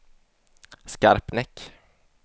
Skarpnäck